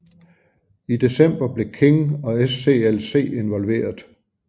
I december blev King og SCLC involveret